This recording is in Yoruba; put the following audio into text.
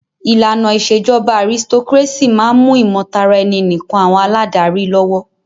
ìlànà ìṣèjọba aristocrácy máà ń mú ìmọ̀taraẹni nìkàn àwọn aládarí lọ́wọ́.